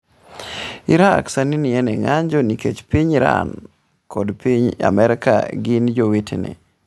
Iraq sani ni e ng’anjo nikech piny Iran kod piny Amerka gin jowetene.